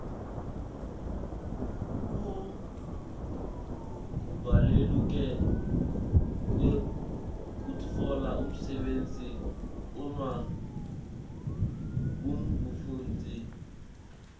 kubaluleka kwekutfola umsebenti uma ungumfundzi